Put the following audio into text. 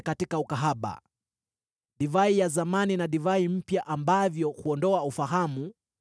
katika ukahaba, divai ya zamani na divai mpya, ambavyo huondoa ufahamu